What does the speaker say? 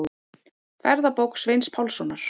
Ferðabók Sveins Pálssonar.